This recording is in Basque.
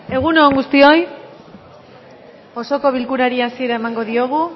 egun on guztioi osoko bilkurari hasiera emango diogu